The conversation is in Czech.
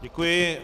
Děkuji.